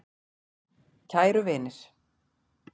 Kæru vinir.